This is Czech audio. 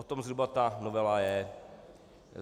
O tom zhruba ta novela je.